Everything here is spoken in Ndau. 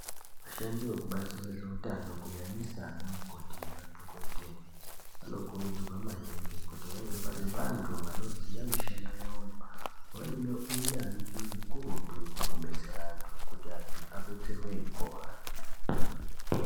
Vashandi vekubazi rezvehutano kunyanyisa ana mukoti nemadhokodheya anokurudzirwa maningi kuti vange vari vantu vanoziva mishando yavoyo vange vane hunyanzvi ukurutu pakubetsera antu kuti antu adetserwe eipora.